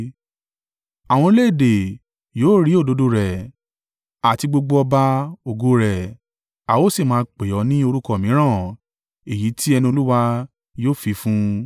Àwọn orílẹ̀-èdè yóò rí òdodo rẹ, àti gbogbo ọba ògo rẹ a ó sì máa pè ọ́ ní orúkọ mìíràn èyí tí ẹnu Olúwa yóò fi fún un.